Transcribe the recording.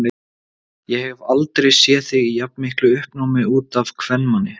Ég hef aldrei séð þig í jafnmiklu uppnámi út af kvenmanni.